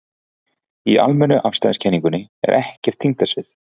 Í almennu afstæðiskenningunni er ekkert þyngdarsvið.